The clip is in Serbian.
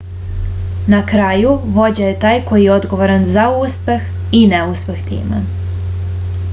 na kraju vođa je taj koji je odgovoran za uspeh i neuspeh tima